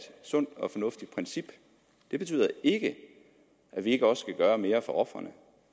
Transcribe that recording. sundt og fornuftigt princip det betyder ikke at vi ikke også skal gøre mere for ofrene